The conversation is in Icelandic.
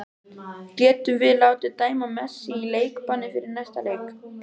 Getum við látið dæma Messi í leikbann fyrir að leika?